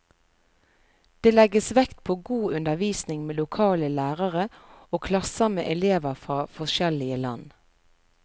Det legges vekt på god undervisning med lokale lærere og klasser med elever fra forskjellige land.